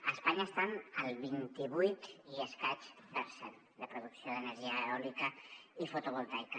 a espanya estan al vint i vuit i escaig per cent de producció d’energia eòlica i fotovoltaica